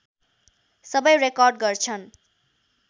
सबै रेकर्ड गर्छन्